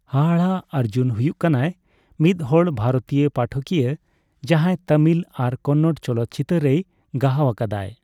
ᱦᱟᱦᱟᱲᱟᱜ ᱚᱨᱡᱩᱱ ᱦᱩᱭᱩᱜ ᱠᱟᱱᱟᱭ ᱢᱤᱫᱦᱚᱲ ᱵᱷᱟᱨᱚᱛᱤᱭᱟᱹ ᱯᱟᱴᱷᱟᱠᱤᱭᱟᱹ ᱡᱟᱦᱟᱸᱭ ᱛᱟᱹᱢᱤᱞ ᱟᱨ ᱠᱚᱱᱱᱚᱲ ᱪᱚᱞᱚᱛ ᱪᱤᱛᱟᱹᱨ ᱨᱮᱭᱜᱟᱦᱟᱣ ᱟᱠᱟᱫᱟᱭ ᱾